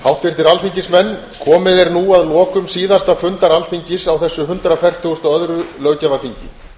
háttvirtir alþingismenn komið er nú að lokum síðasta fundar alþingis á þessu hundrað fertugasta og öðru löggjafarþingi